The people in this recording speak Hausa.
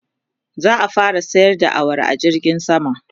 za'a fara sayar da awara a jirgin sama